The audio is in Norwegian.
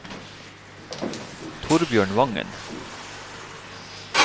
Thorbjørn Vangen